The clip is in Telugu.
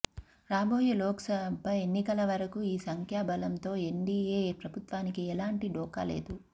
రాబోయే లోకసభ ఎన్నికల వరకు ఈ సంఖ్యాబలంతో ఎన్డీయే ప్రభుత్వానికి ఎలాంటి ఢోఖా లేదు